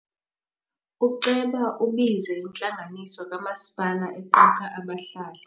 Uceba ubize intlanganiso kamasipala equka abahlali.